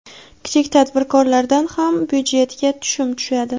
kichik tadbirkorlardan ham byudjetga tushum tushadi.